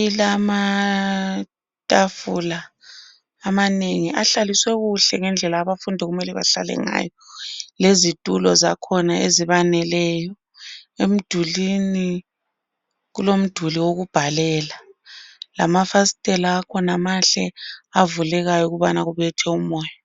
Ilamatafula amanengi ahlaliswe kuhle ngendlela abafundi okumele bahlale ngayo lezintulo zakhona ezibaneleyo emdulwini kulomduli wokubhalela lamafastela akhona mahle avulekayo ukubana kubethe umoyo.